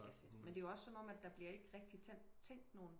Men det er jo også som om der bliver ikke rigtigt tændt nogen